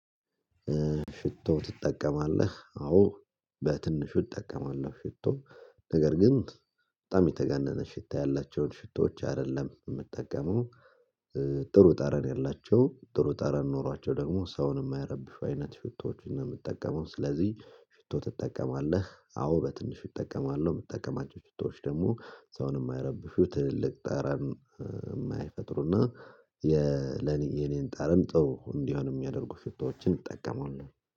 ሽቶ ትጠቀማለህ አዎ በትንሹ እጠቀማለሁ ሽቶ ነገር ግን በጣም የተገነነ ሽታ ያላቸውን ሽቶዎች አይደለም የምትጠቀመው። ጥሩ ጠረን ያላቸው ጥሩ ጠረን ኖሯቸው ደግሞ ሰውን የማያረብሹ አይነት ሽቶዎችን ነው የምጠቀመው። ስለዚህ ሽቶ ትጠቀማለህ? አዎ በትንሽ ይጠቀማለሁ። የምጠቀማቸው ሽቶዎች ደግሞ ሰውን የማያረብሹ ትልቅ ጠረን የማይፈጥሩና የለኔን ጠረን ጥሩ እንዲሆን የሚያደርጉ ሽቶዎችን እንጠቀማለሁ